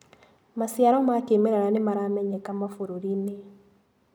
Maciaro ma kĩmerera nĩmaramenyeka mabũrũrinĩ.